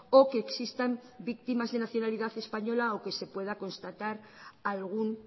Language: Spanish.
o que existan víctimas de nacionalidad española o que se pueda constatar algún